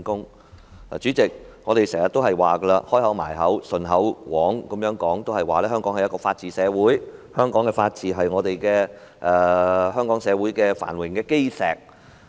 代理主席，我們經常、"開口閉口"、"唸口簧"也會說，香港是法治社會，香港的法治是香港社會繁榮的基石。